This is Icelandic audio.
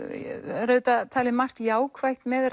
er auðvitað talið margt jákvætt með